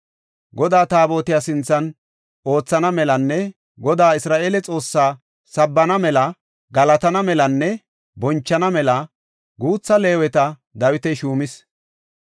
Godaa Taabotiya sinthan oothana melanne Godaa Isra7eele Xoossaa sabbana mela, galatana melanne bonchana mela guutha Leeweta Dawiti shuumis.